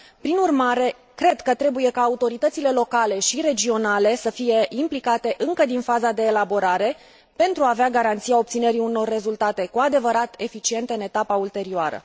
Prin urmare, cred că trebuie ca autoritățile locale și regionale să fie implicate încă din faza de elaborare pentru a avea garanția obținerii unor rezultate cu adevărat eficiente în etapa ulterioară.